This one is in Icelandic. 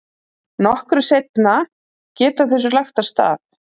Nokkru seinna geta þau svo lagt af stað.